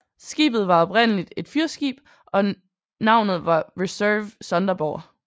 Skibet var oprindeligt et fyrskib og navnet var Reserve Sonderburg